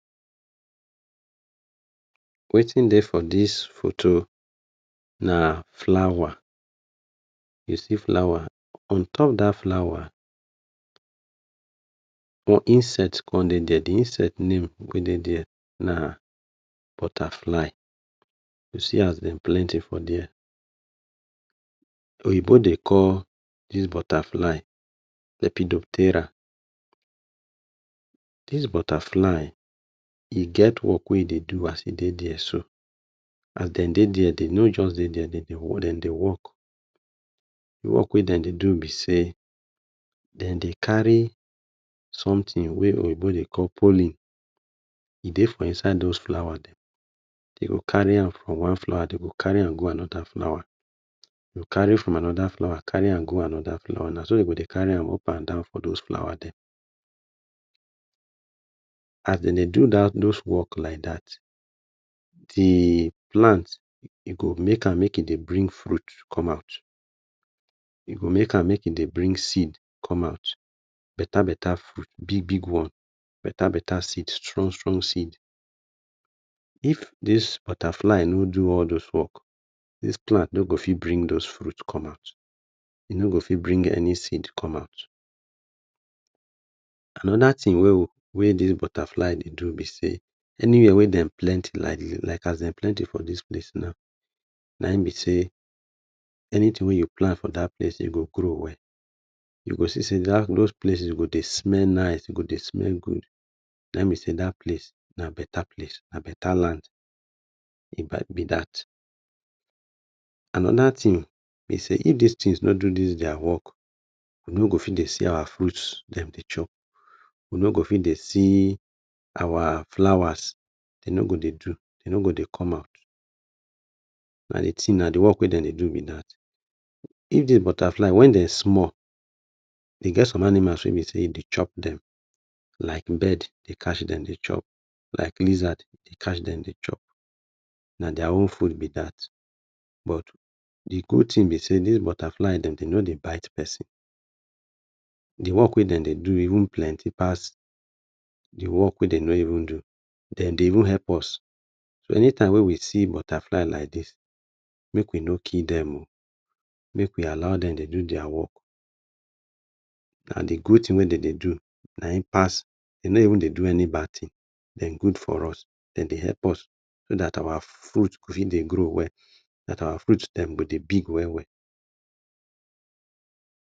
Wetin dey for dis photo, na flower. You see flower, on top dat flower, um insect kon dey dier, di insect name wey dey dier na butterfly. You see as dem plenty for dier. Oyinbo dey call dis butterfly lepidoptera. Dis butterfly, e get work wey e dey do as e dey dier so. As den dey dier, den no just dey dier, den dey wo, den dey work. Di work wey den dey do be sey, den dey carry some tin wey oyinbo dey call pollen, e dey for inside dose flowers dem. Den go carry am from one flower, den go carry am go anoda flower, den go carry from anoda flower, carry am go anoda flower. Na so den go dey carry am up and down for dose flower dem. As den dey do dat dose work like dat, di plant, e go make am make e dey bring fruit come out, e go make am make e dey bring seed come out. Beta beta fruit, big big one. Beta beta seed, strong strong seed. If dis butterfly no do all dose work, dis plant no go fit bring dose fruit come out. E no go fit bring any seed come out. Anoda tin wey we wey dis butterfly dey do be sey, anywhere wey dem plenty like dis, like as dem plenty for dis place now, naim be sey, anytin wey you plant for dat place e go grow well. You go see sey dat dose places go dey smell nice, e go dey smell good, nai e be sey dat place na beta place. Na beta land e bai be dat. Anoda tin be sey, if dis tins no do dis dier work, we no go fit dey see our fruits dem dey chop. We no go fit dey see our flowers, den no go dey do, den no go dey come out. Na di tin, na di work wey den dey do be dat. If dis butterfly, when den small, e get some animals wey be sey e dey chop dem, like bird dey catch dem dey chop, like lizard dey catch dem dey chop. Na dier own food be dat. But di good tin be sey, dis butterfly, den no dey bite person. Di work wey den dey do even plenty pass di work wey den nor even do. Den dey even help us. So, anytime wey we see butterfly like dis, make we no kill dem o, make we allow dem dey do dier work. Na di good tin we den dey do naim pass, e nor even dey do any bad tin. Den good for us, den dey help us so dat our fruit go begin dey grow well, dat our fruit dem go dey big well well.